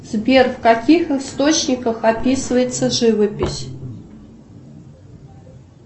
сбер в каких источниках описывается живопись